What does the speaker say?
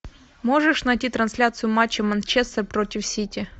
можешь найти трансляцию матча манчестер против сити